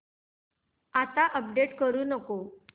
आता अपडेट करू नको